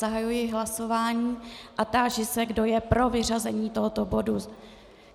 Zahajuji hlasování a táži se, kdo je pro vyřazení tohoto bodu.